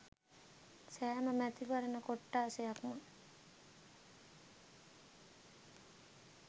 සෑම මැතිවරණ කොට්ඨාසයක්ම